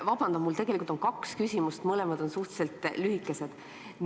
Vabandan, mul on tegelikult kaks küsimust, mõlemad on suhteliselt lühikesed.